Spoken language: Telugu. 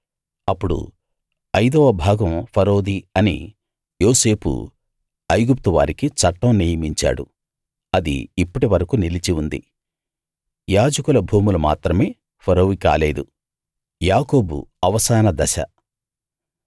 అప్పుడు ఐదవ భాగం ఫరోది అని యోసేపు ఐగుప్తు వారికి చట్టం నియమించాడు అది ఇప్పటివరకూ నిలిచి వుంది యాజకుల భూములు మాత్రమే ఫరోవి కాలేదు